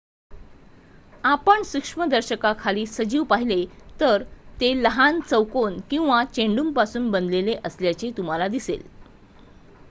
आपण सूक्ष्मदर्शकाखाली सजीव पाहिले तर ते लहान चौकोन किंवा चेंडूंपासून बनलेले असल्याचे तुम्हाला दिसेल